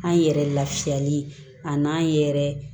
An yɛrɛ lafiyali a n'an yɛrɛ